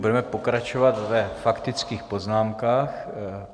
Budeme pokračovat ve faktických poznámkách.